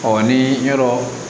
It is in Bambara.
ni yɔrɔ